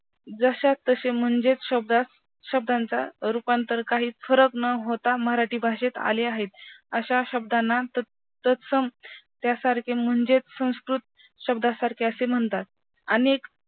जशाच ताशे म्हणजे शब्दा शब्दांचा रूपांतर काही फरक न होता मराठी भाषेत आले आहेत अशा शब्दांना तत् तत्सम त्यासारखे म्हणजेच संस्कृत शब्दासारखे म्हणतात. अनेक